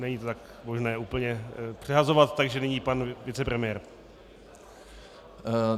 Není to tak možné úplně přehazovat, takže nyní pan vicepremiér.